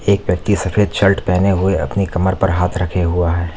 एक व्यक्ति सफेद शल्ट पहने हुए अपनी कमर पर हाथ रखे हुआ है।